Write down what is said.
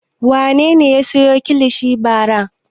Wane ne ya sayo kilishi bara?